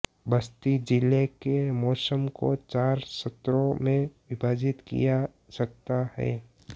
बस्ती जिले के मौसम को चार सत्रो में विभाजित किया सकता है